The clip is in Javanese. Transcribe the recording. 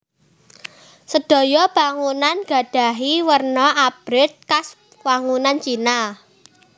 Sedoyo bangunan gadhahi werna abrit kas wangunan China